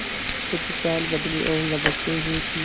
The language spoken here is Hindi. कुछ चाल बदली और लपकते हुए चले